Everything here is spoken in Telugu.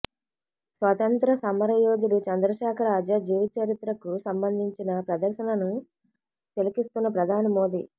స్వాతంత్య్ర సమర యోధుడు చంద్రశేఖర ఆజాద్ జీవిత చరిత్రకు సంబంధించిన ప్రదర్శనను తిలకిస్తున్న ప్రధాని మోదీ